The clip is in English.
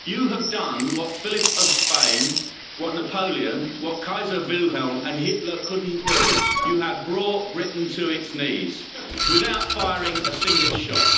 You have done what Philip of Spain, what Napoleon, what Kaiser Wilhelm and Hitler couldn't do you have brought Britain to its knees, without firing a single shot.